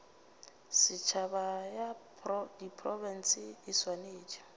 setšhaba ya diprofense e swanetše